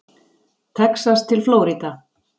Texas til Flórída.